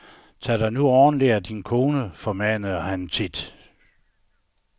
Tag dig nu ordentligt af din kone, formanede han tit.